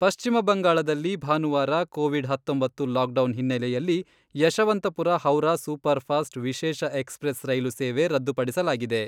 ಪಶ್ಚಿಮ ಬಂಗಾಳದಲ್ಲಿ ಭಾನುವಾರ ಕೊವಿಡ್ ಹತ್ತೊಂಬತ್ತು ಲಾಕ್ಡೌನ್ ಹಿನ್ನೆಲೆಯಲ್ಲಿ ಯಶವಂತಪುರ ಹೌರಾ ಸೂಪರ್ಫಾಸ್ಟ್ ವಿಶೇಷ ಎಕ್ಸ್ಪ್ರೆಸ್ ರೈಲು ಸೇವೆ ರದ್ದುಪಡಿಸಲಾಗಿದೆ.